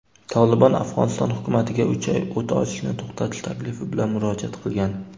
"Tolibon" Afg‘oniston hukumatiga uch oy o‘t ochishni to‘xtatish taklifi bilan murojaat qilgan.